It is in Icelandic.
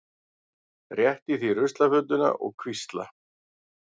Rétti því ruslafötuna og hvísla